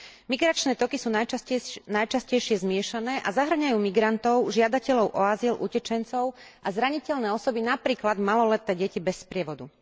Migračné toky sú najčastejšie zmiešané a zahŕňajú migrantov, žiadateľov o azyl, utečencov a zraniteľné osoby, napríklad maloleté deti bez sprievodu.